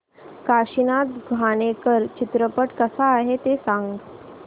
काशीनाथ घाणेकर चित्रपट कसा आहे ते सांग